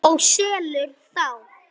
Og selur þá.